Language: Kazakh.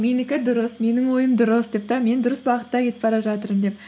менікі дұрыс менің ойым дұрыс деп те мен дұрыс бағытта кетіп бара жатырмын деп